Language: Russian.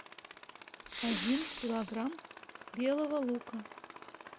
один килограмм белого лука